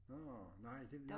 Nårh nej det var